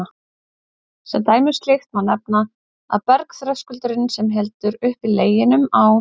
Sem dæmi um slíkt má nefna að bergþröskuldurinn, sem heldur uppi Leginum á